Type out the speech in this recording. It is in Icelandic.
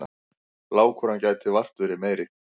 Lágkúran gæti vart verið meiri.